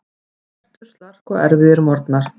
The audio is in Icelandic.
Næturslark og erfiðir morgnar.